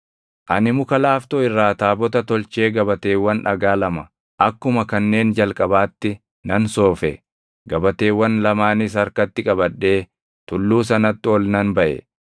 Ani muka laaftoo irraa taabota tolchee gabateewwan dhagaa lama akkuma kanneen jalqabaatti nan soofe; gabateewwan lamaanis harkatti qabadhee tulluu sanatti ol nan baʼe.